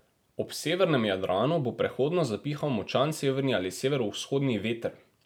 Ob severnem Jadranu bo prehodno zapihal močan severni ali severovzhodni veter.